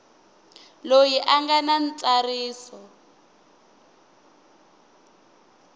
loyi a nga na ntsariso